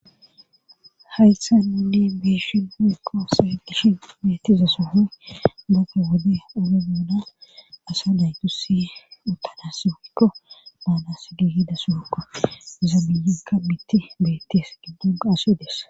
Haythan minni biishin huikko seedishin beettiza sohoy boka wode ore muuna asa daytusi utana sooikko baanas gi hida suokko zaamiyika mitti beettees giddona aso ides.